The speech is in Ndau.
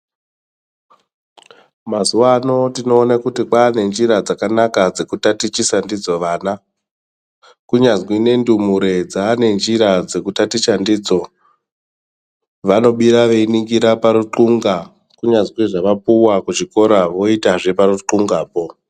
Mazuvano tinoona kuti kwane njira dzakanaka dzekutatichisa ndidzo vana kunyazwi nendumure dzeva ngenjira dzekutaticha ndidzo vanobira veiningira paritwunga kunyazi zvavapuwa kuchikora voita parutwungapo.